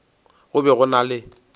go be go na le